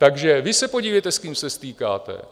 Takže vy se podívejte, s kým se stýkáte.